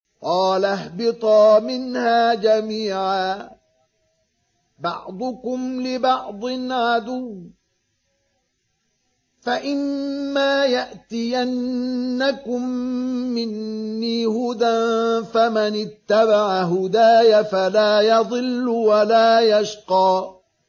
قَالَ اهْبِطَا مِنْهَا جَمِيعًا ۖ بَعْضُكُمْ لِبَعْضٍ عَدُوٌّ ۖ فَإِمَّا يَأْتِيَنَّكُم مِّنِّي هُدًى فَمَنِ اتَّبَعَ هُدَايَ فَلَا يَضِلُّ وَلَا يَشْقَىٰ